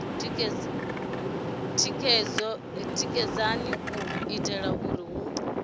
tikedzaho u itela uri hu